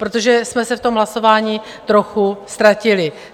Protože jsme se v tom hlasování trochu ztratili.